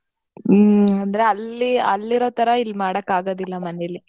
ಹ್ಮ್. ಅಂದ್ರೆ ಅಲ್ಲಿ ಅಲ್ಲಿರೋತರಾ ಇಲ್ ಮಾಡಕಾಗೋದಿಲ್ಲ ಮನೆಲ್ಲಿ.